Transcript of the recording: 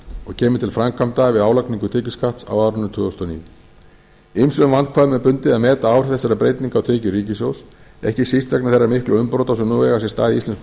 og kemur til framkvæmda við álagningu tekjuskatts á árinu tvö þúsund og níu ýmsum vandkvæðum er bundið að meta áhrif þessara breytinga á tekjur ríkissjóðs ekki síst vegna þeirra miklu umbrota sem nú eiga sér stað í íslensku